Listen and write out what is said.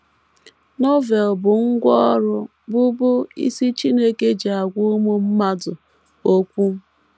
Novel bụ ngwá ọrụ bụ́ bụ́ isi Chineke ji agwa ụmụ mmadụ okwu.